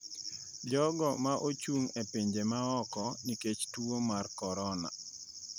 jogo ma ochung’ e pinje ma oko nikech tuo mar Korona.